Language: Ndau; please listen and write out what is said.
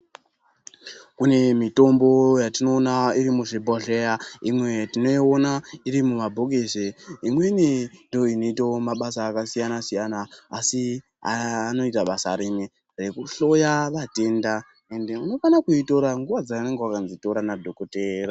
Kune mitombo yatinoona iri muzvibhodhleya imweni tinoona iri mumabhokisi imweni ndoo inoitawo mabasa akasiyana-siyana asi aya anoita basa rimwe reku hloya vatenda ende unofana kuitora nguwa dzaunenge wakazi tora na dhokotera.